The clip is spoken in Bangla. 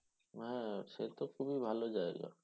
হ্যাঁ সে তো খুবই ভালো জায়গা